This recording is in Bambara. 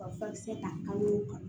Ka furakisɛ ta kan o kan